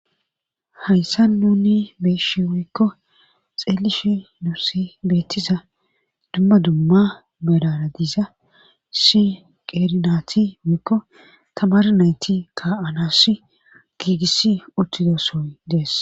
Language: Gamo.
hayssa nuni beeshe woykko xeelifhi nusi beettiza dumma dumma belara diiza si qeerinaati wuyikko tamar nayti ka7anasi giigis uttidosoy dees